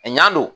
A ɲan don